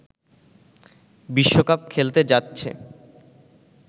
বিশ্বকাপ খেলতে যাচ্ছে